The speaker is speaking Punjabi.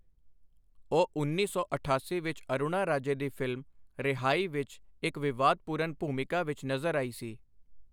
ਉਹ ਉੱਨੀ ਸੌ ਅਠਾਸੀ ਵਿੱਚ ਅਰੁਣਾ ਰਾਜੇ ਦੀ ਫ਼ਿਲਮ ਰਿਹਾਈ ਵਿੱਚ ਇੱਕ ਵਿਵਾਦਪੂਰਨ ਭੂਮਿਕਾ ਵਿੱਚ ਨਜ਼ਰ ਆਈ ਸੀ।